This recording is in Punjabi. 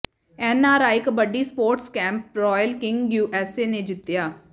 N R I kabaddi Sports Cup Royal King U S A ਨੇ ਜਿੱਤਿਆ